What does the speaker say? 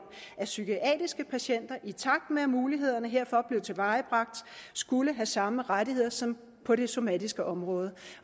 at psykiatriske patienter i takt med at mulighederne herfor blev tilvejebragt skulle have samme rettigheder som på det somatiske område